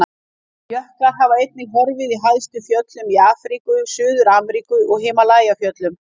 Jöklar hafa einnig horfið í hæstu fjöllum í Afríku, Suður-Ameríku og Himalajafjöllum.